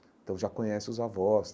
Então já conhece os avós.